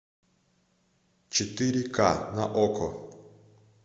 четыре ка на окко